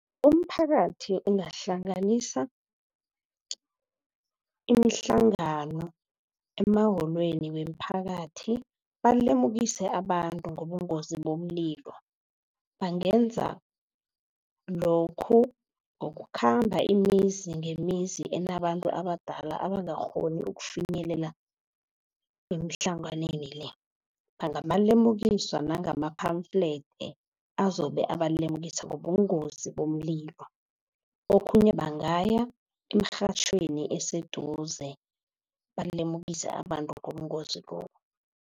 Umphakathi ungahlanganisa imihlangano emawolweni weemphakathi balemukise abantu ngobungozi bomlilo. Bangenza lokhu ngokukhamba imizi ngemizi enabantu abadala abangakghoni ukufinyelela emhlanganweni le bangabalemukisa ngama-pamphlet azobe abalemukise ngobungozi bomlilo. Okhunye bangaya eemrhatjhweni eseduze balemukise abantu ngobungozi lobu.